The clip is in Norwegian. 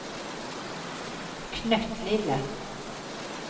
knøttlille